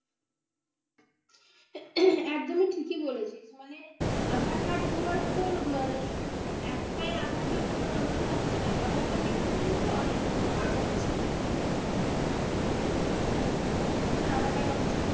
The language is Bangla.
একদমই ঠিকই ধরেছে phone এ aadhaar card ধরার তোর শুধু যে একটাই aadhaar card আমাদের আছে তা নয় aadhaar card টা কি বলুন তো ভাগ ও আছে অনেক ধরনের aadhaar card aadhaar card অনেক রকমের aadhaar card এ অনেক সুবিধা।